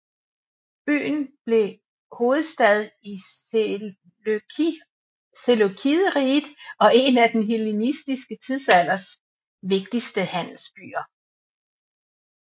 Byen blev hovedstad i Seleukideriget og en af den hellenistiske tidsalders vigtigste handelsbyer